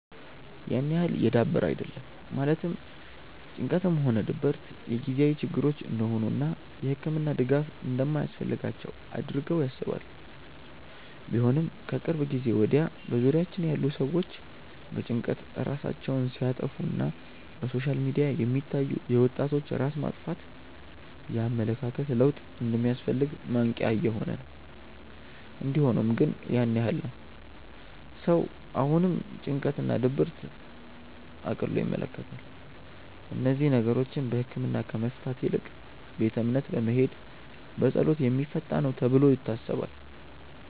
ያን ያህል የዳበረ አይደለም ማለትም ጭንቀትም ሆነ ድብረት የጊዜያዊ ችግሮች እንደሆኑ እና የህክምና ድጋፍ እንደማያስፈልጋቸው አድርገው ያስባሉ። ቢሆንም ግን ከቅርብ ጊዜ ወድያ በዙሪያችን ያሉ ሰዎች በጭንቀት ራሳቸውን ሲያጠፋ እና በሶሻል ሚዲያ የሚታዩ የወጣቶች ራስ ማጥፋት የኣመለካከት ለውጥ እንደሚያስፈልግ ማንቅያ እየሆነ ነው። እንዲ ሆኖም ግን ያን ያህል ነው ሰው አሁንም ጭንቀት እና ድብርትን እቅሎ ይመለከታል። እነዚህን ነገሮች በህክምና ከመፍታት ይልቅ ቤተ እምነት በመሄድ በፀሎት የሚፈታ ነው ተብሎ ይታሰባል።